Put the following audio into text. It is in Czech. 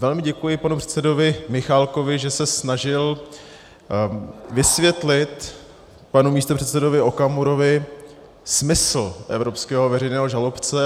Velmi děkuji panu předsedovi Michálkovi, že se snažil vysvětlit panu místopředsedovi Okamurovi smysl evropského veřejného žalobce.